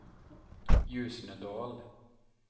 Ljusnedal